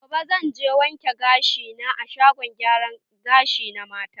Gobe, zan je wanke gashi na a shagon gyara gashi na mata.